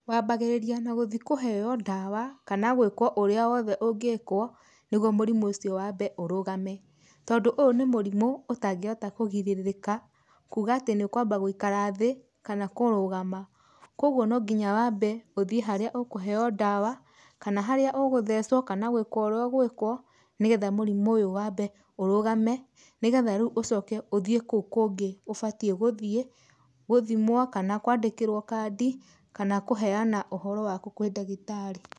Wambagĩrĩria na gũthi kũheo ndawa, kana gwĩkwo ũrĩa wothe ũngĩkwo nĩguo mũrimũ ũcio wambe ũrũgame. Tondũ ũyũ nĩ mũrimũ ũtangĩhota kũgirĩrĩka, kuuga atĩ nĩ ũkwamba gũikara thĩ kana kũrũgama. Koguo no nginya wambe ũthiĩ harĩa ũkũheo ndawa, kana harĩa ũgũthecwo kana gwĩkwo ũrĩa ũgwĩkwo, nĩgetha mũrimũ ũyũ wambe ũrũgame, nĩgetha rĩu ũcoke ũthiĩ kũu kũngĩ ũbatiĩ gũthiĩ gũthimwo kana kwandĩkĩrwo kandi kana kũheana ũhoro waku kwĩ ndagĩtarĩ.